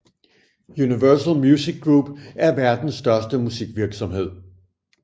Universal Music Group er verdens største musikvirksomhed